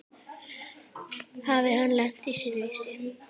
Hafði hann lent í slysi?